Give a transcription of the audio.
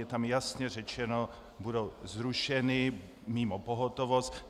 Je tam jasně řečeno: budou zrušeny mimo pohotovost.